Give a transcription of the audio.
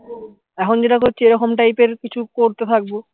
এখন যেটা করছি এরকম type এর কিছু করতে থাকবো